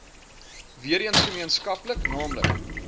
weereens gemeenskaplik naamlik